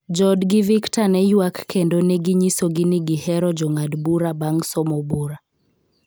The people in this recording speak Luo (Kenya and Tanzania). Joodgi Victor ne ywak kendo ne ginyisogi ni gihero jong'ad bura bang somo bura.